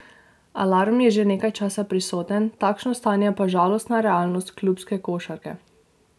Alarm je že nekaj časa prisoten, takšno stanje pa žalostna realnost klubske košarke.